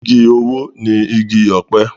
Igi owó ni igi ọ̀pẹ.